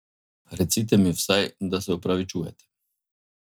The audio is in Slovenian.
Recite mi vsaj, da se opravičujete.